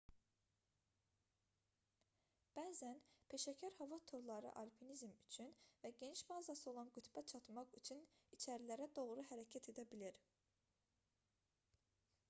bəzən peşəkar hava turları alpinizm üçün və geniş bazası olan qütbə çatmaq üçün içərilərə doğru hərəkət edə bilir